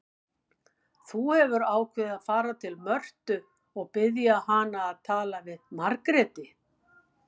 Þú hefur ákveðið að fara til Mörtu og biðja hana að tala við Margréti.